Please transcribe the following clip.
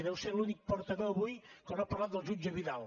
deu ser l’únic portaveu avui que no ha parlat del jutge vidal